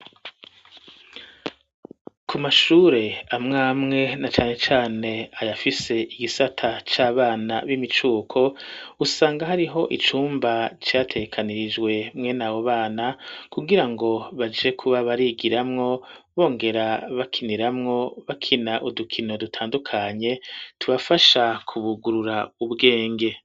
ku mashure amwe amwe na cane cane ayafise igisata c'abana b'imicuko, usanga hariho icumba categekanirijwe mwenabo bana kugira ngo baje kuba barigiramwo bongera bakiniramwo bakina udukino dutandukanye tubafasha kubugurura ubwenge.